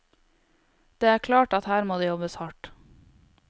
Det er klart at her må det jobbes hardt.